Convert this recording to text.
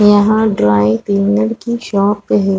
यहाँ dry cleaner की shop है।